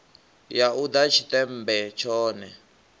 ya u ḓa tshiṱemmbe tshone